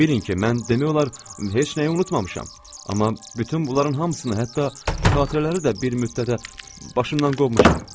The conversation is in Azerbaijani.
Bilin ki, mən demək olar heç nəyi unutmamışam, amma bütün bunların hamısını hətta xatirələri də bir müddətə başımdan qovmuşam.